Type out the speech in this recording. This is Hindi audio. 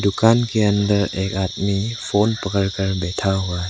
दुकान के अंदर एक आदमी फोन पड़कर बैठा हुआ है।